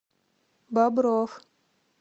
бобров